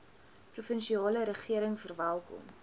provinsiale regering verwelkom